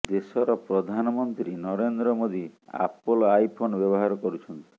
ଦେଶର ପ୍ରଧାନମନ୍ତ୍ରୀ Narendra Modi Apple iPhone ବ୍ୟବହାର କରୁଛନ୍ତି